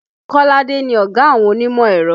Kolade ni ọ̀gá àwọn onímọ̀ ẹ̀rọ